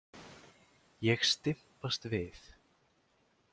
Ég stympast við.